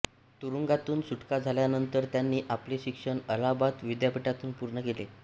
तुरूंगातून सुटका झाल्यानंतर त्यांनी आपले शिक्षण अलाहाबाद विद्यापीठातून पूर्ण केले